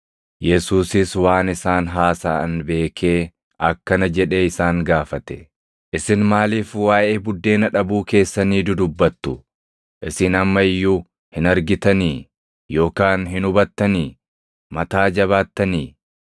Yesuusis waan isaan haasaʼan beekee akkana jedhee isaan gaafate; “Isin maaliif waaʼee buddeena dhabuu keessanii dudubbattu? Isin amma iyyuu hin argitanii? Yookaan hin hubattanii? Mataa jabaattanii?